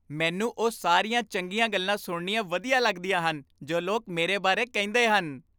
ਮੈਨੂੰ ਉਹ ਸਾਰੀਆਂ ਚੰਗੀਆਂ ਗੱਲਾਂ ਸੁਣਨੀਆਂ ਵਧੀਆ ਲੱਗਦੀਆਂ ਹਨ ਜੋ ਲੋਕ ਮੇਰੇ ਬਾਰੇ ਕਹਿੰਦੇ ਹਨ।